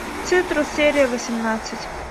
цитрус серия восемнадцать